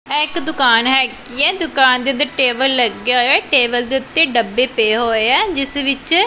ਐ ਇੱਕ ਦੁਕਾਨ ਹੈਗੀ ਹੈ ਦੁਕਾਨ ਦੇ ਅੰਦਰ ਟੇਬਲ ਲੱਗੇ ਹੋਏ ਟੇਬਲ ਦੇ ਉੱਤੇ ਡੱਬੇ ਪਏ ਹੋਏ ਆ ਜਿਸ ਵਿੱਚ --